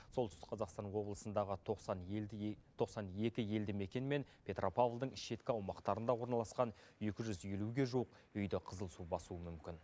солтүстік қазақстан облысындағы тоқсан елді тоқсан екі елді мекен мен петропавлдың шеткі аумақтарында орналасқан екі жүз елуге жуық үйді қызыл су басуы мүмкін